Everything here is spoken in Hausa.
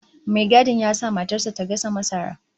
Mai gadin ya sa matar sa ta gasa masara